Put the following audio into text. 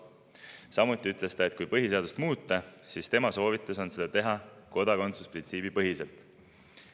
Samuti ütles ta, et kui põhiseadust muuta, siis tema soovitus on teha seda kodakondsusprintsiibipõhiselt.